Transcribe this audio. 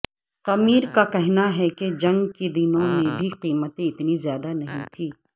قمیر کا کہنا ہے کہ جنگ کے دنوں میں بھی قیمتیں اتنی زیادہ نہیں تھیں